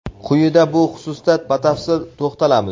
Quyida bu xususda batafsil to‘xtalamiz.